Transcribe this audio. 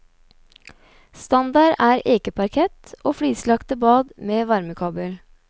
Standard er ekeparkett og flislagte bad med varmekabel.